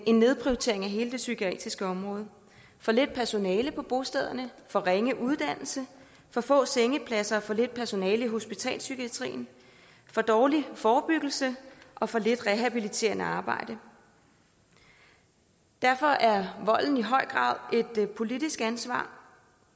en nedprioritering af hele det psykiatriske område for lidt personale på bostederne for ringe uddannelse for få sengepladser og for lidt personale i hospitalspsykiatrien for dårlig forebyggelse og for lidt rehabiliterende arbejde derfor er volden i høj grad et politisk ansvar